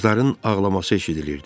qızların ağlaması eşidilirdi.